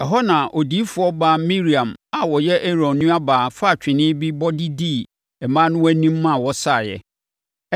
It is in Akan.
Ɛhɔ na Odiyifoɔ baa Miriam a ɔyɛ Aaron nuabaa faa twene bi bɔ de dii mmaa no anim ma wɔsaeɛ.